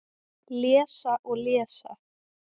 Lesa og lesa